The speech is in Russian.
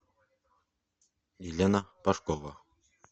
елена пашкова